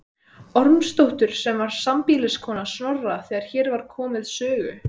Ormsdóttur sem var sambýliskona Snorra þegar hér var komið sögu.